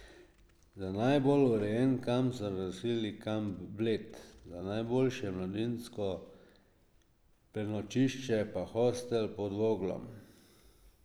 Za najbolj urejen kamp so razglasili Kamp Bled, za najboljše mladinsko prenočišče pa Hostel Pod Voglom.